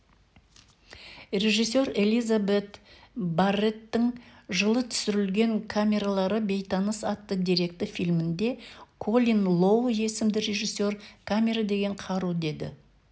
режиссер элизабет барреттің жылы түсірілген камералы бейтаныс атты деректі фильмінде колин лоу есімді режиссер камера деген қару дейді